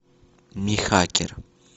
михакер